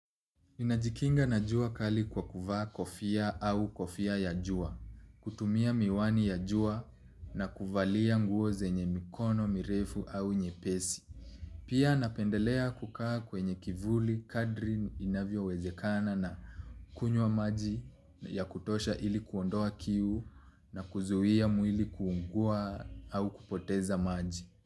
Ninajikinga na jua kali kwa kuvaa kofia au kofia ya jua, kutumia miwani ya jua na kuvalia nguo zenye mikono mirefu au nyepesi. Pia napendelea kukaa kwenye kivuli kadri inavyowezekana na kunywa maji ya kutosha ili kuondoa kiu na kuzuia mwili kuungua au kupoteza maji.